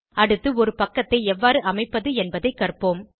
அடுத்து ஒரு பக்கத்தை எவ்வாறு அமைப்பது என்பதைக் கற்போம்